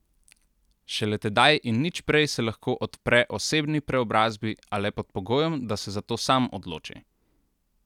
Šele tedaj in nič prej se lahko odpre osebni preobrazbi a le pod pogojem, da se za to sam odloči.